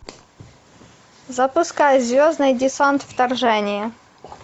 запускай звездный десант вторжение